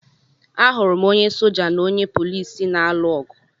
Ahụrụ m onye soja na onye polisi na-alụ ọgụ